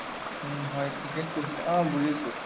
উম হয় ঠিকেই কৈছা, অ বুজিছো